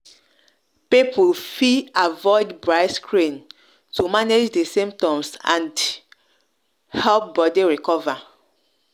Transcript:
people fit avoid bright screen to manage di symptoms and help body recover